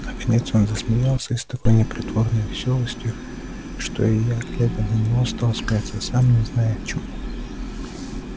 наконец он засмеялся и с такой непритворной весёлостью что и я глядя на него стал смеяться сам не зная чему